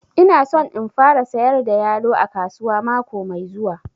Ina son in fara sayar da yalo a kasuwa mako mai zuwa